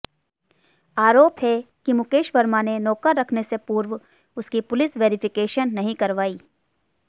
आरोप है कि मुकेश वर्मा ने नौकर रखने से पूर्व उसकी पुलिस वेरिफिकेशन नहीं करवाई